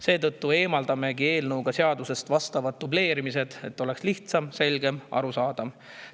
Seetõttu eemaldame eelnõu kohaselt seadusest vastava dubleerimise, et see oleks lihtsam, selgem, arusaadavam.